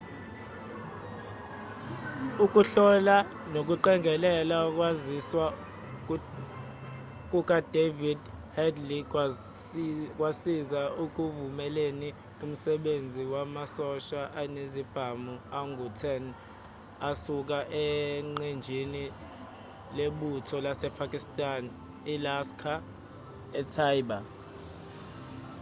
ukuhlola nokuqongelela ukwaziswa kukadavid headley kwasiza ekuvumeleni umsebenzi wamasosha anezibhamu angu-10 asuka eqenjini lebutho lasepakistan ilaskhar-e-taiba